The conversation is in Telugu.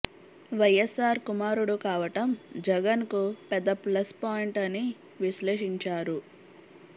వైయస్ఆర్ కుమారుడు కావటం జగన్ కు పెద్ద ప్లస్ పాయింట్ అని విశ్లేషించారు